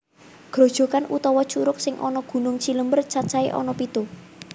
Grojokan utawa curug sing ana Gunung Cilember cacahé ana pitu